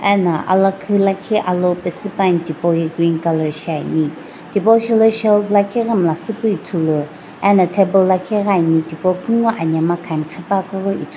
ana alakhii lakhi alo paesii pa ne tipou ye green colour shiane thipo shaelo shelf lakhi ghi miila siipu ithulu ano table lakhi ghi ane thipo kungu anemga kam ghipakeu --